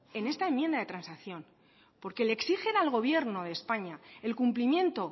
en esta enmienda transacción porque le exigen al gobierno de españa el cumplimiento